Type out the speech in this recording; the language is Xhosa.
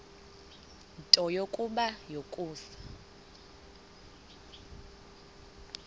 nto kubarrow yokusa